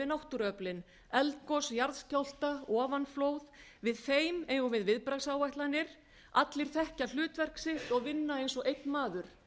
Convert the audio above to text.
náttúruöflin eldgos jarðskjálfta ofanflóð við þeim eigum við viðbragðsáætlanir allir þekkja hlutverk sitt og vinna eins og einn maður